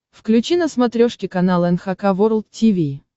включи на смотрешке канал эн эйч кей волд ти ви